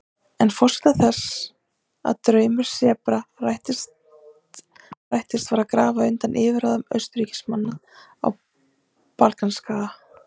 En forsenda þess að draumur Serba rættist var að grafa undan yfirráðum Austurríkismanna á Balkanskaga.